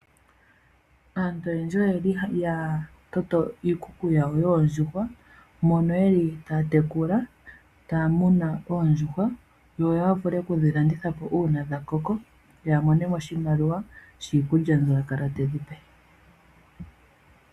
Aantu oyendji oyeli haya ningi iikuku yawo yoondjuhwa , mono yeli taya tekula ta ya munu oondjuhwa yo yavule okudhi landithapo uuna dhakoko yamoneno oshimaliwa shiikulya mbyoka yakala tayedhipe.